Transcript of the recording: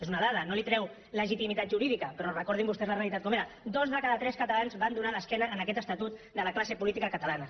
és una dada no li treu legitimitat jurídica però recordin vostès la realitat com era dos de cada tres catalans van donar l’esquena a aquest estatut de la classe política catalana